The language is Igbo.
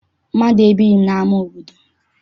Mmadụ ebighị n'ama obodo m.